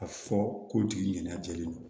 A fɔ ko tigi ɲɛna jɛlen don